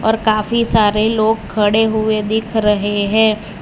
और काफी सारे लोग खड़े हुए दिख रहे है।